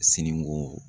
Siniko